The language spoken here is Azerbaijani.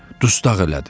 Dustağ elədi.